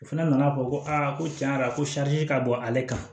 O fana nana fɔ ko a ko tiɲɛ yɛrɛ la ko ka bɔ ale kan